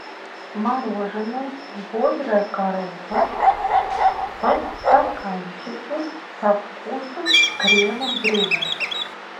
мороженое бодрая корова в стаканчике со вкусом крема брюле